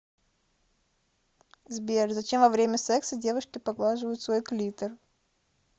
сбер зачем во время секса девушки поглаживают свой клитор